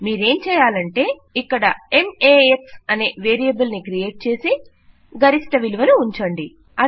మీరేమి చేయాలంటే ఇక్కడ మాక్స్ అనే వేరియబుల్ ని క్రియేట్ చేసి ఇక్కడ గరిష్ఠ విలువను ఉంచండి